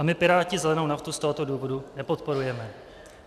A my Piráti zelenou naftu z tohoto důvodu nepodporujeme.